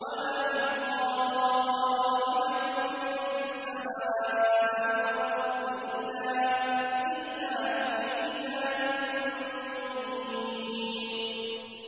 وَمَا مِنْ غَائِبَةٍ فِي السَّمَاءِ وَالْأَرْضِ إِلَّا فِي كِتَابٍ مُّبِينٍ